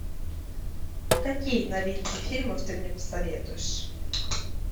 какие новинки фильмов ты мне посоветуешь